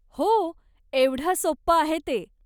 हो, एवढं सोपं आहे ते.